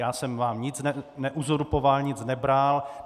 Já jsem vám nic neuzurpoval, nic nebral.